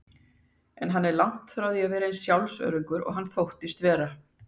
En hann var langt í frá eins sjálfsöruggur og hann þóttist vera.